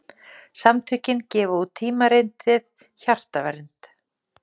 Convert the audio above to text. Samtökin gefa út tímaritið Hjartavernd.